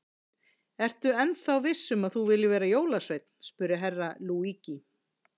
Ertu ennþá viss um að þú viljir verða jólasveinn spurði Herra Luigi.